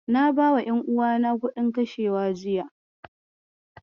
Na bawa ƴanuwana kuɗin kashewa jiya.